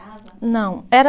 Não, era